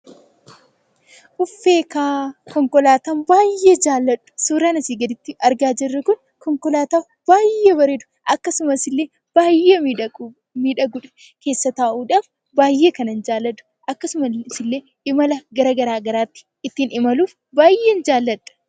Suuraan asii gaditti argaa jirru kun konkolaataa baay'ee bareeddu. Akkasumas illee baay'ee miidhaguudha. Keessa taa'uudhaaf baay'ee kanan jaalladhu. Akkasumas imala bakka garaagaraatti ittiin imaluuf baay'een jaalladha.